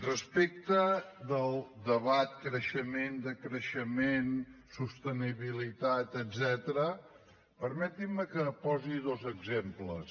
respecte del debat creixement decreixement sostenibilitat etcètera permetin me que en posi dos exemples